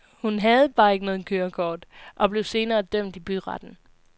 Hun havde bare ikke noget kørekort og blev senere dømt i byretten.